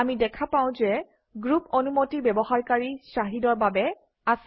আমি দেখা পাওঁ যে গ্ৰুপ অনুমতি ব্যৱহাৰকাৰী shahid অৰ বাবে আছে